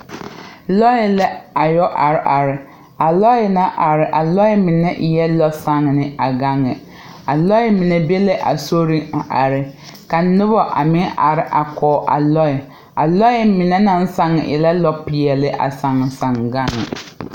Lɔe la a yoɔ are are. A lɔe naŋ are a lɔe mene eɛ lɔ saane a gaŋe. A lɔe mene be la a soreŋ a are. Ka nobo a meŋ are a koɔ a lɔe. A lɔe mene nag sang e la lɔ piɛle a sange sange gang.